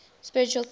spiritual theories